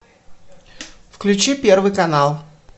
включи первый канал